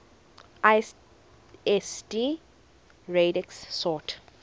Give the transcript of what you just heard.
lsd radix sort